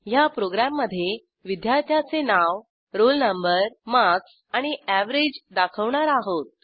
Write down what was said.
ह्या प्रोग्रॅममधे विद्यार्थ्याचे नाव रोल नंबर मार्क्स आणि अॅव्हरेज दाखवणार आहोत